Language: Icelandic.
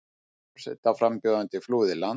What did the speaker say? Forsetaframbjóðandi flúði land